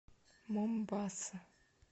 момбаса